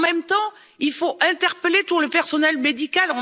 de malades. En même temps, il faut interpeller tout le personnel